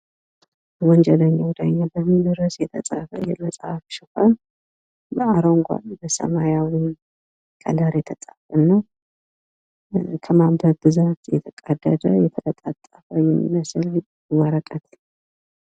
ወንጀለኛ ዳኛ በሚል ርዕስ የተፃፈ የመፅሀፍ ሽፋን አረንጓዴ በሰማያዊ ከለር የተፃፈ እና ከማንበብ ብዛት የተቀደደ የተለጣጠፈ የሚመስል ወረቀት